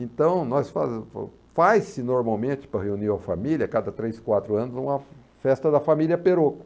Então, nós fazemos, faz-se normalmente para reunir a família, cada três, quatro anos, uma festa da família Perocco.